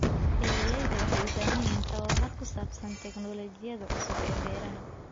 Beeralayda waxay u baahan yihiin tababar ku saabsan teknoolajiyada cusub ee beeraha.